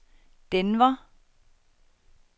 Denver